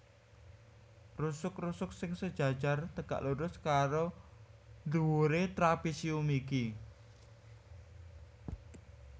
Rusuk rusuk sing sejajar tegak lurus karo dhuwuré trapésium iki